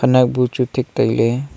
nowbu chu thik tai ley.